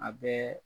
A bɛɛ